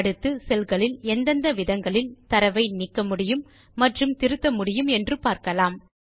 அடுத்து செல்களில் எந்தெந்த விதங்களில் தரவை நீக்க முடியும் மற்றும் திருத்த முடியும் என்று பார்க்கலாம்